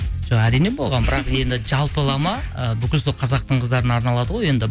жоқ әрине болған бірақ енді жалпылама ы бүкіл сол қазақтың қыздарына арналады ғой енді